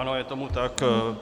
Ano, je tomu tak.